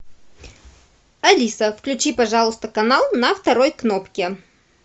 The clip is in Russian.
алиса включи пожалуйста канал на второй кнопке